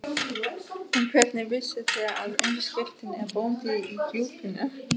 En hvernig vissuð þér, að undirskriftin er Bóndi í Djúpinu?